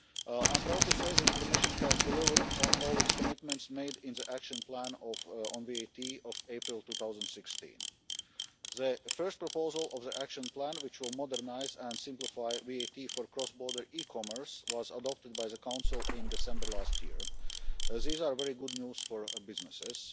I am proud to say that the Commission has delivered on all its commitments made in the Action Plan on VAT of April 2016. The first proposal of the Action Plan, which will modernise and simplify VAT for cross-border e-commerce, was adopted by the Council in December last year. This is very good news for businesses.